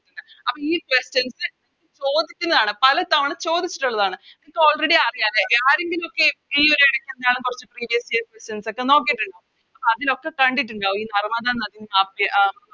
അപ്പോം ഈ Questions ചോദിച്ചിക്കുന്നതാണ് പലതവണ ചോദിച്ചിട്ടുള്ളതാണ് ഇപ്പൊ Already അറിയ അല്ലെ ആരെങ്കിലൊക്കെ ഈയൊര് എടക്ക് എന്താണ് കൊറച്ച് Previous years questions ഒക്കെ നോക്കിട്ടുണ്ട് അപ്പൊ അതിലൊക്കെ കണ്ടിട്ടിണ്ടാവും ഈ നർമ്മദ നദിയും താപ്തിയും